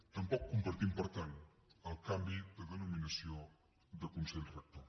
tampoc compartim per tant el canvi de denominació de consell rector